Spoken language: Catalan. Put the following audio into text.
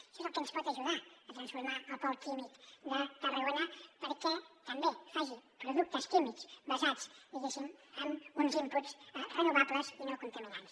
això és el que ens pot ajudar a transformar el pol químic de tarragona perquè també faci productes químics basats diguéssim en uns inputs renovables i no contaminants